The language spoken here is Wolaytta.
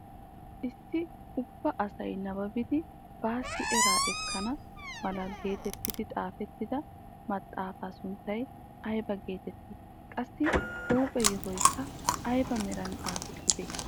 Issi ubba asay nababidi baassi eraa ekkana mala getetti xaafettida maxaafaa sunttay ayba getettii? qassi huuphphe yohoykka ayba meran xaafettidee?